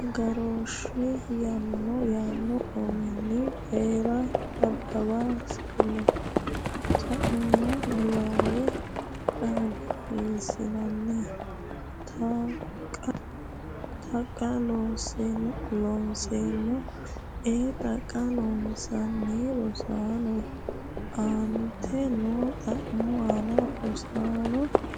agarooshshe yaanno uminni Coyi’ra nabbambe sa’numo niwaawe qaagginanni? Taqa Looseemmo a Taqa Loossinanni Rosaano aantete noo xa’mo ani Rosaano fushitini?